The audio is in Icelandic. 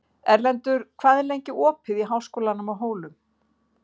Erlendur, hvað er lengi opið í Háskólanum á Hólum?